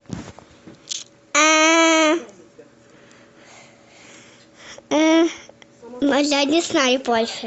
ну я не знаю больше